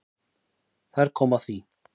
Og þar kom að því.